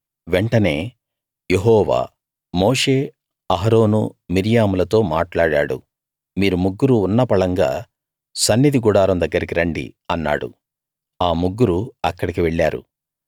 వెంటనే యెహోవా మోషే అహరోను మిర్యాములతో మాట్లాడాడు మీరు ముగ్గురూ ఉన్న పళంగా సన్నిధి గుడారం దగ్గరకి రండి అన్నాడు ఆ ముగ్గురూ అక్కడికి వెళ్ళారు